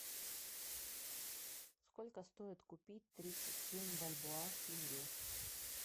сколько стоит купить тридцать семь бальбоа в тенге